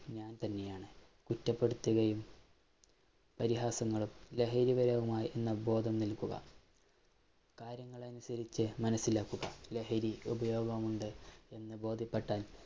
ഞാന്‍ തന്നെയാണ്. കുറ്റപ്പെടുത്തുകയും പരിഹാസങ്ങളും, ലഹരി അവബോധം നല്‍കുക, കാര്യങ്ങളനുസരിച്ച് മനസിലാക്കുക. ലഹരിയുടെ ഉപയോഗമുണ്ട് എന്ന് ബോധ്യപ്പെട്ടാല്‍